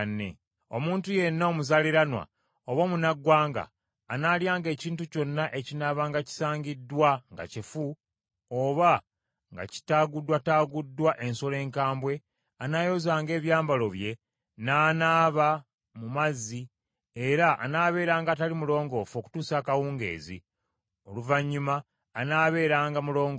“Omuntu yenna omuzaaliranwa oba omunnaggwanga anaalyanga ekintu kyonna ekinaabanga kisangiddwa nga kifu, oba nga kitaaguddwataaguddwa ensolo enkambwe, anaayozanga ebyambalo bye, n’anaaba mu mazzi, era anaabeeranga atali mulongoofu okutuusa akawungeezi; oluvannyuma anaabeeranga mulongoofu.